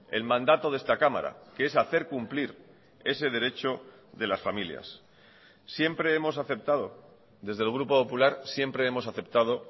el mandato de esta cámara que es hacer cumplir ese derecho de las familias siempre hemos aceptado desde el grupo popular siempre hemos aceptado